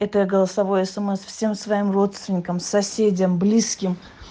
это голосовое смс всем своим родственникам соседям близким